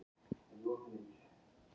Enn engin ákvörðun í stjórn ÍLS